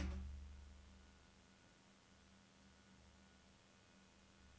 N E R V E P I R R E N D E